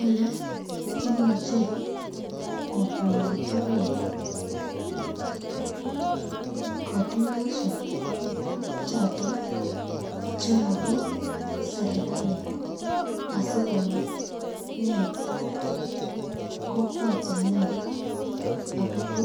Ole imuche kotuyoikto Kee kotuyoshek choton chemobo serkali asikonet kokwotinwek akobo